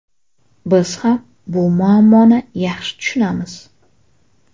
Biz ham bu muammoni yaxshi tushunamiz.